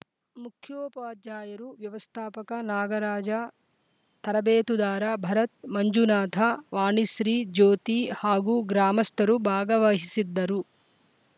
ಮುಖ್ಯೋಪಾಧ್ಯಾಯರು ವ್ಯವಸ್ಥಾಪಕ ನಾಗರಾಜ ತರಬೇತುದಾರ ಭರತ್‌ ಮಂಜುನಾಥ ವಾಣಿಶ್ರೀ ಜ್ಯೋತಿ ಹಾಗೂ ಗ್ರಾಮಸ್ಥರು ಭಾಗವಹಿಸಿದ್ದರು